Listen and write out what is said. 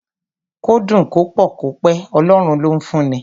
Kó dùn, kó pọ̀, kó pẹ́, Ọlọ́run ló ń fún ni.